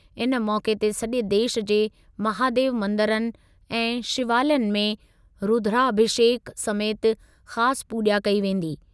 इन मौक़े ते सॼे देशु जे महादेव मंदरनि ऐं शिवालयनि में रुद्राभिषेक समेति ख़ासि पूॼा कई वेंदी।।